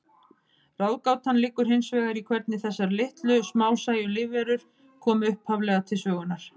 Ráðgátan liggur hins vegar í hvernig þessar litlu, smásæju lífverur komu upphaflega til sögunnar.